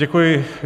Děkuji.